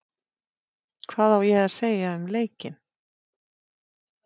Hvað ég á að segja um leikinn?